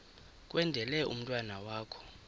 kwendele umntwana wakho